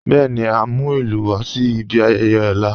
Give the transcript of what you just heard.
Bẹẹni, à n mú ilù wà sí ìbí ayẹyẹ ọ̀la.